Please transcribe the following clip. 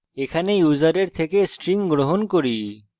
এখানে আমরা ইউসারের থেকে string গ্রহণ করছি